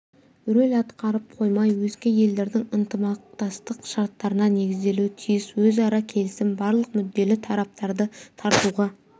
роль атқарып қоймай өзге елдердің ынтымақтастық шарттарына негізделуі тиіс өзара келісім барлық мүдделі тараптарды тартуға